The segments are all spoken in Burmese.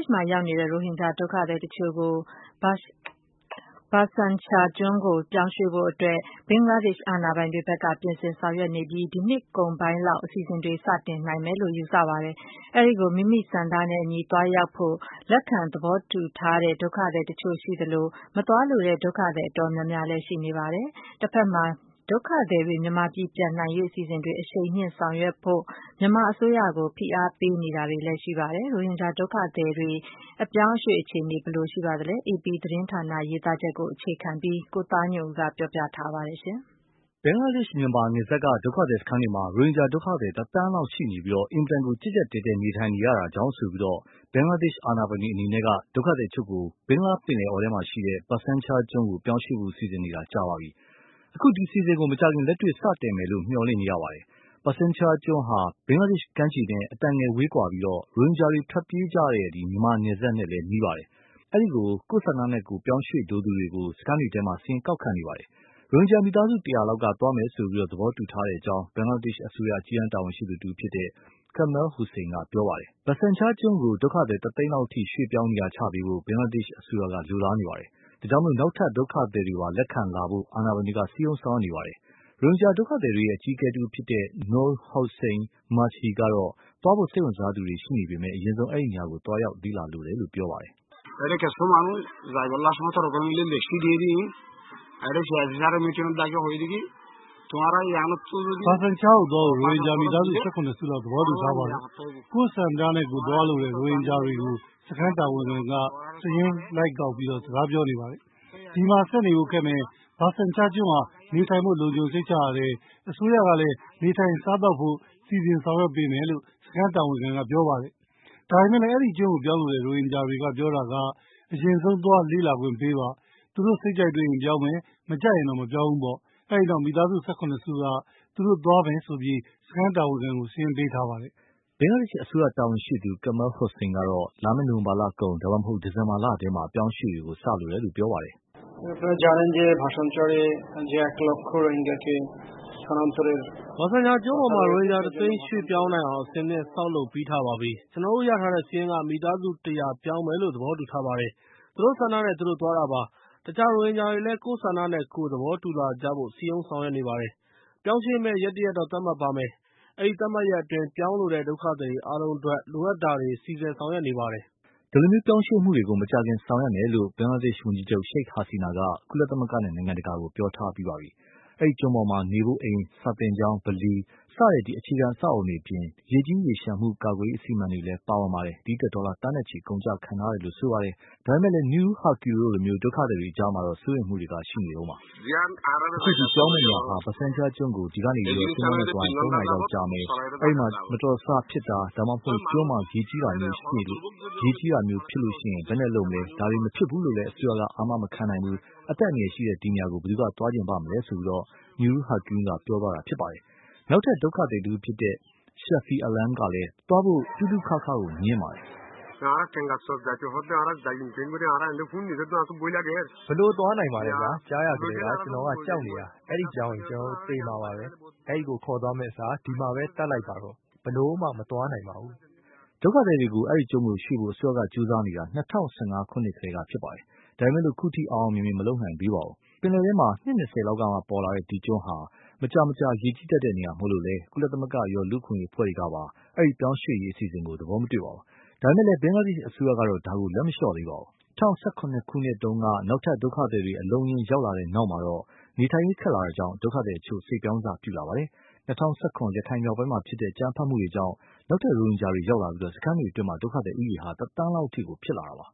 ှ်မှာရောက်နေတဲ့ ရိုဟင်ဂျာဒုက္ခသည်အချို့ကိုBhasan Char ကျွန်းကို ရွေ့ပြောင်းဖို့ ဘင်္ဂလားဒေ့ရှ်အာဏာပိုင်တွေဖက်က ပြင်ဆင်ဆောင်ရွက်နေပြီး ဒီနှစ်ကုန်ပိုင်းလောက် အစီအစဉ်တွေ စတင်နိုင်မယ်လို့ ယူဆရပါတယ်။ အဲဒီကို မိမိဆန္ဒနဲ့အညီသွားရောက်ဖို့ လက်ခံသဘောတူထားတဲ့ ဒုက္ခသည်အချို့ရှိသလို ၊ မသွားလိုတဲ့ ဒုက္ခသည်အတော်များများလည်း ရှိနေပါတယ်။ တဖက်မှာ ဒုက္ခသည်တွေ မြန်မာပြည်ပြန်နိုင်ရေး အစီအစဉ်တွေ အရှိန်မြင့်ဆောင်ရွက်ဖို့ မြန်မာအစိုးရကို ဖိအားပေး ပြောဆိုတာတွေလည်း ရှိနေပါတယ်။ ရိုဟင်ဂျာဒုက္ခသည်တွေ အပြောင်းအရွေ့အခြေအနေ ဘယ်လိုရှိပါသလဲ။ အေပီ သတင်းဌာန ရေးသားချက်ကို အခြေခံပြီး ကိုသားညွန့်ဦး ပြောပြထားပါတယ်။ ဘင်္ဂလားဒေ့ရှ် မြန်မာ နယ်စပ်က ဒုက္ခသည်စခန်းတွေမှာ ရိုဟင်ဂျာဒုက္ခသည် တသန်းလောက်ရှိပြီး အင်မတန်ကိုကြပ်ကြပ်တည်းတည်းနေထိုင်နေရတာကြောင့်ဆိုပြီး ဘင်္ဂလားဒေ့ရှ်အာဏာပိုင်တွေအနေနဲ့ ဒုက္ခသည်အချို့ကို ဘင်္ဂလားပင်လယ်အော်ထဲမှာရှိတဲ့ Bhasan Char ကျွန်းကို ပြောင်းရွေ့ဖို့ စီစဉ်နေတာ ကြာပါပြီ။ အခု ဒီအစီအစဉ်ကို မကြာခင် လက်တွေ့ စတင်မယ်လို့ မျှော်လင့်ရပါတယ်။ Bhasan Char ကျွန်းဟာ ဘင်္ဂလားဒေ့ရှ်ကမ်းကနေ အတန်ငယ်ဝေးကွာပြီး ရိုဟင်ဂျာတွေထွက်ပြေးလာတဲ့ မြန်မာနယ်စပ်နဲ့လည်း နီးပါတယ်။ အဲဒီကို ကိုယ့်ဆန္ဒနဲ့ကိုယ်ပြောင်းရွေ့လိုသူတွေကို စခန်းတွေထဲမှာ စာရင်းကောက်ခံနေပါတယ်။ ရိုဟင်ဂျာမိသားစု ၁၀၀ လောက်က သွားမယ်ဆိုပြီး သဘောတူထားတယ်လို့ ဘင်္ဂလားဒေရှ်အစိုးရ အကြီးတန်းတာဝန်ရှိသူ တဦးဖြစ်တဲ့ Kamal Hossain က ပြောပါတယ်။ Bhasan Char ကျွန်းကို ဒုက္ခသည် တသိန်းလောက်အထိ ရွေ့ပြောင်းနေရာချပေးဖို့ ဘင်္ဂလားဒေ့ရှ်အစိုးရက လိုလားနေပါတယ်။ ဒါကြောင့် နောက်ထပ် ဒုက္ခသည်တွေပါ လက်ခံလာဖို့ အာဏာပိုင်တွေက စည်းရုံး ဆောင်ရွက်နေပါတယ်။ ရိုဟင်ဂျာ ဒုက္ခသည်တွေရဲ့ အကြီးအကဲတဦးဖြစ်သူ Noor Hossain Majhi ကတော့ သွားဖို့ စိတ်ဝင်စားသူတွေရှိနေပေမယ့် အရင်ဆုံး အဲဒီနေရာကို သွားရောက်လေ့လာလိုကြတယ်လို့ ပြောပါတယ်။ “ Bhasan Char ကို သွားဖို့ ရိုဟင်ဂျာမိသားစု ၁၇ စုလောက် သဘောတူထားပါတယ်။ ကိုယ့်ဆန္ဒနဲ့ကိုယ် သွားလိုတဲ့ ရိုဟင်ဂျာတွေကို စခန်းတာဝန်ခံက စာရင်းကောက်လိုက် စကားပြောနေပါတယ်။ ဒီမှာ ဆက်နေဖို့ ခက်မယ်၊ Bhasan Char ကျွန်းဟာ နေထိုင်ဖို့ လုံခြုံစိတ်ချရတယ်၊ အစိုးရကလည်း နေထိုင်စားသောက်ဖို့ စီစဉ်ဆောင်ရွက်ပေးမယ်လို့ စခန်းတာဝန်ခံက ပြောပါတယ်။ ဒါပေမယ့်လည်း အဲဒီကျွန်းကို ပြောင်းလိုတဲ့ ရိုဟင်ဂျာတွေက ပြောတာက အရင်ဆုံး သွားလေ့လာခွင့်ပေးပါ။ သူတို့ စိတ်ကြိုက်တွေ့ရင် ပြောင်းမယ်၊ မကြိုက်ရင်တော့ မပြောင်းဘူးပေါ့။ အဲဒီနောက် မိသားစု ၁၇ စုက သူတို့ သွားမယ်လို့ စခန်းတာဝန်ခံကို စာရင်းပေးထားပါတယ်။” ဘင်္ဂလားဒေ့ရှ် အစိုးရ တာဝန်ရှိသူ Hossan ကတော့ လာမယ့်နိုဝင်ဘာလကုန် ဒါမှမဟုတ် ဒီဇင်ဘာလထဲမှာ အပြောင်းအရွေ့တွေ စလို တယ်လို့ ပြောပါတယ်။ “ Bhasan Char ကျွန်းပေါ်မှာ ရိုဟင်ဂျာ တသိန်း ရွေ့ပြောင်းနိုင်အောင် အဆင်သင့် ဆောက်လုပ်ပြီးထားပါပြီ။ ကျနော်တို့ ရထားတဲ့ စာရင်းက မိသားစု ၁၀၀ ပြောင်းမယ်လို့ သဘောတူထားပါတယ်။ သူတို့ ဆန္ဒနဲ့ သူတို့ သွားတာပါ။ အခြား ရိုဟင်ဂျာတွေလည်း ကိုယ့်ဆန္ဒနဲ့ကိုယ် သဘောတူလာကြဖို့ စည်းရုံးဆောင်ရွက်နေပါတယ်။ ပြောင်းရွေ့မယ့် ရက်တရက်တော့ သတ်မှတ်ပါမယ်။ အဲဒီ သတ်မှတ်ရက်အတွင်း ပြောင်းလိုတဲ့ ဒုက္ခသည်တွေအားလုံးအတွက် လိုအပ်တာတွေ စီစည်ဆောင်ရွက်နေပါတယ်။” ဒီလိုပြောင်းရွေ့မှုတွေကို မကြာခင်ဆောင်ရွက်မယ်လို့ ဘင်္ဂလားဒေ့ရှ်ဝန်ကြီးချုပ် Sheikh Hasina က ကုလသမဂ္ဂနဲ့ နိုင်ငံတကာကိုပြောထားပါပြီ။ အဲဒီကျွန်းပေါ်မှာ နေဖို့အိမ်၊ စာသင်ကျောင်း၊ ဗလီစတဲ့ အခြေခံအဆောက်အဦးတွေအပြင် ရေကြီးရေလျှံတာတွေကို ကာကွယ်ရေးအစီအမံတွေလည်း ပါဝင်ပြီး ဒီအတွက် ဒေါ်လာသန်းနဲ့ချီ အကုန်အကျခံထားပါတယ်။ ဒါပေမယ့်လည်း Nurul Haque တို့လို ဒုက္ခသည်တွေအကြားမှာတော့ စိုးရိမ်မှုတွေ ရှိနေတုန်းပါ။ “ အခုပြောင်းမယ့်နေရာ Bhasan Char ကျွန်းကို ဒီကနေ သင်္ဘောနဲ့သွားရင် သုံးနာရီကြာမယ်။ တခုခု မတော်တဆဖြစ်တာ၊ ဒါမှမဟုတ် ကျွန်းမှာ ရေကြီးတာမျိုးဖြစ်ရင် ဘယ်လိုလုပ်မလဲ။ ဒါတွေ မဖြစ်ဘူးလို့ အစိုးရက အာမ မခံနိုင်ဘူး။ အသက်အန္တရာယ်ရှိတဲ့ ဒီနေရာကို ဘယ်သူက သွားချင်ပါ့မလဲ။” နောက်ထပ်ဒုက္ခသည်တဦးဖြစ်တဲ့ Shafi Alam ကလည်း သွားဖို့ တူးတူးခါးခါးကို ငြင်းပါတယ်။ “ဘယ်လို သွားနိုင်မလဲဗျာ။ ကြားရကတည်းက ကျနော်က ကြောက်နေတာ။ အဲဒီပြောင်းရင် ကျနော်တို့ သေမှာပဲ။ အဲဒီကို ခေါ်သွားမယ့်အစား ဒီမှာပဲ သတ်လိုက်ပါတော့ဗျာ။ ဘယ်လိုမှ မသွားနိုင်ပါဘူး။” ဒုက္ခသည်တွေကို အဲဒီကျွန်းကို ရွေ့ဖို့ အစိုးရက ကြိုးစားနေတာ ၂၀၁၅ ခုနှစ်ကတည်းကပါ။ ဒါပေမယ်လို့ ခုထိ အောင်အောင်မြင်မြင်မလု်ပနိုင်သေးဘူး။ ပင်လယ်ထဲကို နှစ် ၂၀ လောက်ကမှ ပေါ်လာတဲ့ ဒီကျွန်းဟာ မကြာမကြာ ရေကြီးတတ်တဲ့နေရာမို့လို့လည်း ကုလသမဂ္ဂရော လူ့အခွင့်အရေးအဖွဲ့တွေကပါ အဲဒီ ပြောင်းရွေ့ရေးအစီအစဉ်ကို သဘောမတွေ့ပါဘူး။ ဒါပေမယ့်လည်း ဘင်္ဂလားဒေ့ရှ်အစိုးရကတော့ ဒါကို လက်မလျှော့သေးပါဘူး။ ဒါပေမယ့်လို့ ၂၀၁၇ တုန်းက နောက်ထပ်ဒုက္ခသည်တွေ အလုံးအရင်းရောက်လာတဲ့နောက်မှာ နေထိုင်ရေးခက်လာတာကြောင့် ဒုက္ခသည်အချို့ စိတ်ပြောင်းစ ပြုလာပါတယ်။ ၂၀၁၇ ရခိုင်မြောက်ပိုင်းမှာဖြစ်တဲ့ အကြမ်းဖက်မှုတွေကြောင့် နောက်ထပ် ရိုဟင်ဂျာတွေရောက်လာပြီး စခန်းတွေအတွင်း ဒုက္ခသည်ဦးရည်ဟာ တသန်းလောက်အထိ ဖြစ်လာပါတယ်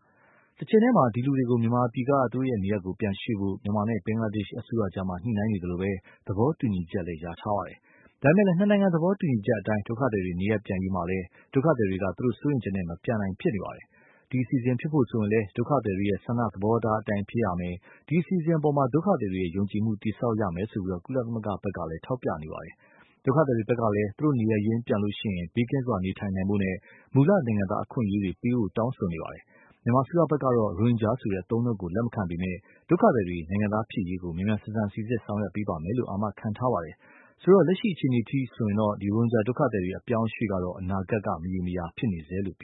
။ တချိန်တည်းမှာ ဒီလူတွေကို မြန်မာပြည်က သူတို့နေရပ်ကို ပြန်ရွေ့ဖို့ မြန်မာနဲ့ ဘင်္ဂလားဒေ့ရှ်အစိုးရအကြား ညှိုနှိုင်းနေသလို သဘောတူညီချက်လည်း ရထားပါတယ်။ ဒါပေမယ့် နှစ်နိုင်ငံသဘောတူညီချက်အတိုင်း ဒုက္ခသည်တွေ နေရပ်ပြန်ရေးမှာလည်း ဒုက္ခသည်တွေက သူတို့ စိုးရိမ်ချက်နဲ့ မပြန်နိုင်ဖြစ်နေပါတယ်။ ဒီ အစီအစဉ်ဖြစ်ဖို့ဆိုရင်လည်း ဒုက္ခသည်တွေဆန္ဒသဘောထားအတိုင်းဖြစ်ရမယ်၊ ဒီ အစီအစဉ်အပေါ် ဒုက္ခသည်တွေရဲ့ ယုံကြည်မှု တည်ဆောက်ရမယ်လို့ ကုလသမဂ္ဂကလည်း ထောက်ပြနေပါတယ်။ ဒုက္ခသည်တွေဖက်ကလည်း သူတို့နေရပ်ပြန်ရင် ဘေးကင်းစွာနေထိုင်နိုင်ဖို့နဲ့ မူလနိုင်ငံသားအခွင့်အရေးပေးဖို့ တောင်းဆိုနေကြပါတယ်။ မြန်မာအစိုးရဖက်ကတော့ ရိုဟင်ဂျာဆိုတဲ့ အသုံးအနှုန်းကို လက်မခံပေမယ့် ဒုက္ခသည်တွေ နိုင်ငံသားဖြစ်ရေးကို မြန်မြန်ဆန်ဆန် စီစစ်ဆောင်ရွက်ပေးမယ်လို့ အာမခံထားပါတယ်။ ဆိုတော့ လက်ရှိအခြေအနေအထိ ရိုဟင်ဂျာဒုက္ခသည်တွေ အပြောင်းအရွေ့က အနာဂတ် မရေမရာဖြစ်နေဆဲလို့ပဲ